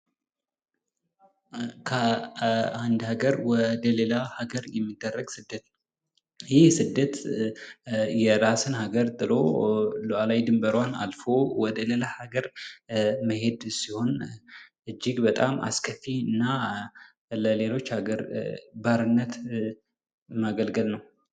ከአንድ ሀገር ወደ ሌላ ሀገር የሚደረግ ስደት፤ ይህ ስደት የራስን አገር ጥሎ ሉዓላዊ ድንበሯን አልፎ ወደ ሌላ ሀገር መሄድ ሲሆን ፤ እጅግ በጣም አስከፊ እና ለሌሎች አገር ባርነት ማገልገል ነው።